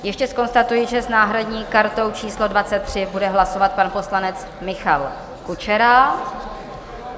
Ještě zkonstatuji, že s náhradní kartou číslo 23 bude hlasovat pan poslanec Michal Kučera.